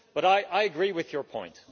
But I agree with your point.